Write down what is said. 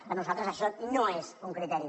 per nosaltres això no és un criteri